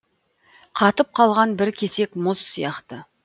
қатып қалған бір кесек мұз сияқты